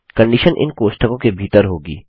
condition इन कोष्ठकों के भीतर होगी